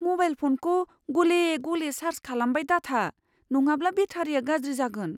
Mobile फ'नखौ गले गले चार्ज खालामबाय दाथा, नङाब्ला बेटारिया गाज्रि जागोन।